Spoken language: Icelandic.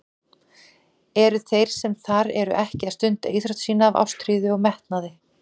Eru þeir sem þar eru ekki að stunda íþrótt sína af ástríðu og metnaði?